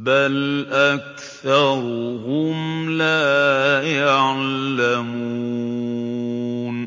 بَلْ أَكْثَرُهُمْ لَا يَعْلَمُونَ